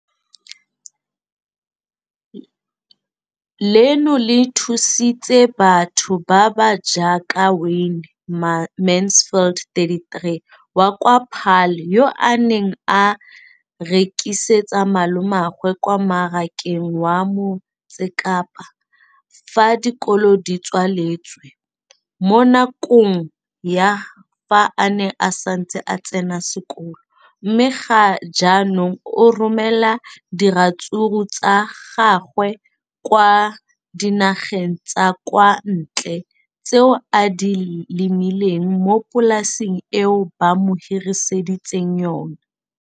leno le thusitse batho ba ba jaaka Wayne Mansfield, 33, wa kwa Paarl, yo a neng a rekisetsa malomagwe kwa Marakeng wa Motsekapa fa dikolo di tswaletse, mo nakong ya fa a ne a santse a tsena sekolo, mme ga jaanong o romela diratsuru tsa gagwe kwa dinageng tsa kwa ntle tseo a di lemileng mo polaseng eo ba mo hiriseditseng yona.